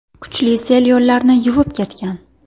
Kuchli sel yo‘llarni yuvib ketgan.